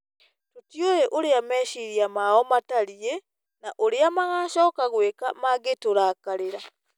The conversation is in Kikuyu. Tũtiũĩ ũrĩa meciiria mao matariĩ na ũrĩa magaacoka gwĩka mangĩtũrakarĩra.